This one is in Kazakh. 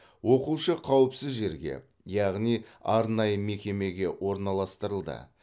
оқушы қауіпсіз жерге яғни арнайы мекемеге орналастырылды